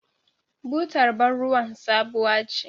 Butar bar ruwan sabuwa ce.